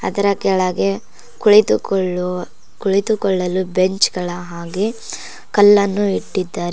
ಅದರ ಕೆಳಗೆ ಕುಳಿತುಕೊಳ್ಳುವ ಕುಳಿತುಕೊಳ್ಳಲು ಬೆಂಚ್ ಗಳ ಹಾಗೆ ಕಲ್ಲನ್ನು ಇಟ್ಟಿದ್ದಾರೆ.